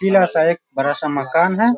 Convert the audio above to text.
पीला सा एक बड़ा सा मकान है।